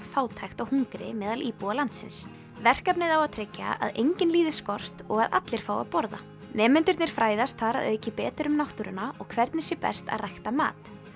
fátækt og hungri meðal íbúa landsins verkefnið á að tryggja að enginn líði skort og að allir fái að borða nemendurnir fræðast þar að auki betur um náttúruna og hvernig sé best að rækta mat